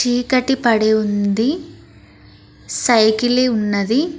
చీకటి పడి ఉంది సైకిలి ఉన్నది.